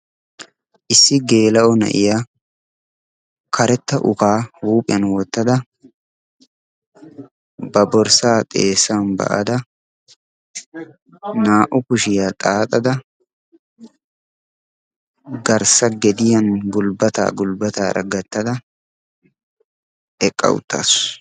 Issi geela'o na'iya karetta ukaa huuphiyan wottada, ba borssaa xeessan ba'ada, naa'u kushiyaa xaaxada, garssa gediyan gulbbataa gulbbataara gattada eqqa uttaasu.